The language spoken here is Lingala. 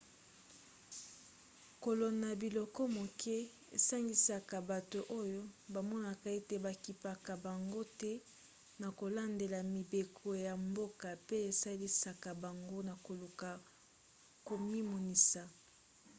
kolona biloko moke esangisaka bato oyo bamonaka ete bakipaka bango te na kolandela mibeko ya mboka pe esalisaka bango na koluka komimonisa